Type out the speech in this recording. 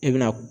E bɛna